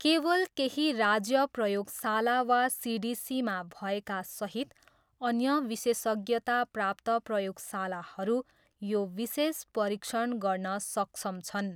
केवल केही राज्य प्रयोगशाला वा सिडिसीमा भएका सहित, अन्य विशेषज्ञताप्राप्त प्रयोगशालाहरू, यो विशेष परीक्षण गर्न सक्षम छन्।